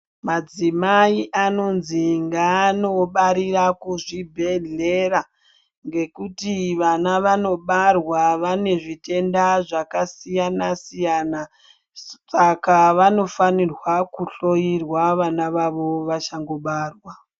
Madzimai anonzi ngaanobarira kuzvibhedhleya ngekuti vana vanobarwa vane zvitenda zvakasiyana siyana saka vanofanirwa kuhloyiwa vana vavo vachangobarwa.